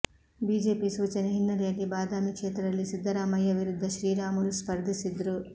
BJP ಸೂಚನೆ ಹಿನ್ನೆಲೆಯಲ್ಲಿ ಬದಾಮಿ ಕ್ಷೇತ್ರದಲ್ಲಿ ಸಿದ್ದರಾಮಯ್ಯ ವಿರುದ್ಧ ಶ್ರೀರಾಮುಲು ಸ್ಪರ್ಧಿಸಿದ್ರು